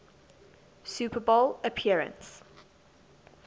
super bowl appearance